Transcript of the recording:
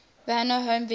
warner home video